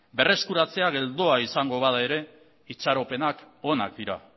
berreskuratzea geldoa izango bada ere itxaropenak onak dira